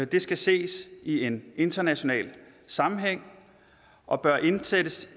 det skal ses i en international sammenhæng og bør indsættes